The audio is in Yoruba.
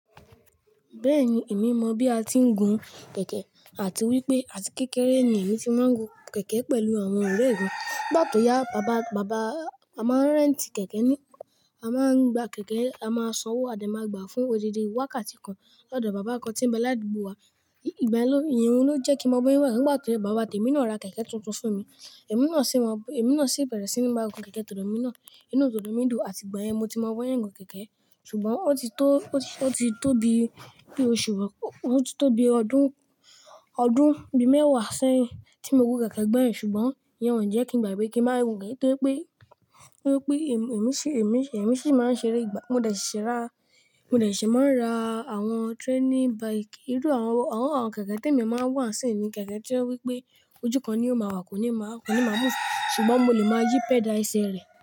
Bẹ́ẹ̀ni, èmi mọ bí a tí ń gun kẹ̀kẹ́ àti wípé àti kékeré ni èmi tí máa ń gun kẹ̀kẹ́ pẹ̀lú àwọn ọ̀rẹ́ mi. Nigba to ya, bàbá, bàbá, a máa ń rẹ́ntì kẹ̀kẹ́ ni. A máa ń gba kẹ̀kẹ́, a máa sanwó, a dẹ máa gbà á fún odidi. Wákàtí kan lọ́dọ̀ bàbá kan tí ń bẹ ládìgbò wa. Ìgbà ẹ ló, ìyẹn ló jẹ́ kí mo mọ bí wọn ṣe ń gun. Nigba to ya bàbá wa temi náà ra kẹ̀kẹ́ tuntun fún mi. Emí náà sì máa, emí náà sì bẹ̀rẹ̀ sí ní máa gun kẹ̀kẹ́ tọdọ mi náà. Inú tòdò mi dùn àti ìgbà yẹn ni mo ti mọ bi wọ́n ṣe n gun kẹ̀kẹ́. Sugbọn ó ti tó, ó ti tó bi oṣù, ó ti tó bi ọdún, ọdún bí mẹ́wàá sẹ́yìn tí mo gun kẹ̀kẹ́ gbẹ́yin ṣùgbọ́n ìyẹn ọ́ jẹ́ kí n gbàgbé kí ń máa gun keke tóri pé, torípé èmi sì, èmi sì máa ń ṣeré ìgbà. Mo dẹ̀ ṣese ra, mo dẹ̀ ṣì máa ń ra àwọn training bike. Irú àwọn, àwọn kẹ̀kẹ́ tí èmi máa ń wà sì ni kẹ̀kẹ́ to je wípé ojú kan ni ó máa wà, kò ní máa, kò ní máa move. Ṣùgbọ́n mo lè máa yí pẹ́dà ẹsẹ̀ rẹ̀.